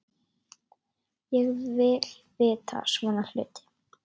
Ég vil vita svona hluti.